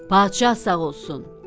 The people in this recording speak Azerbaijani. Padşah sağ olsun.